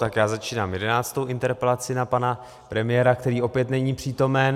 Tak já začínám jedenáctou interpelaci na pana premiéra, který opět není přítomen.